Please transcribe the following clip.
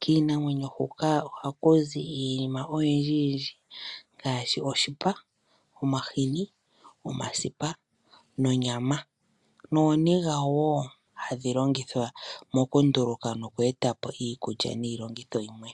Kiinamwenyo huka ohaku zi iinima oyindji ngaashi oshipa, omahini, omasipa, onyama nooniga woo hadhi longithwa oku nduluka noku eta po iikulya niilongitho yimwe.